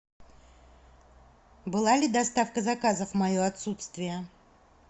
была ли доставка заказов в мое отсутствие